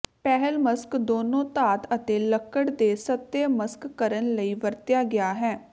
ਪਹਿਲ ਮਸ਼ਕ ਦੋਨੋ ਧਾਤ ਅਤੇ ਲੱਕੜ ਦੇ ਸਤਹ ਮਸ਼ਕ ਕਰਨ ਲਈ ਵਰਤਿਆ ਗਿਆ ਹੈ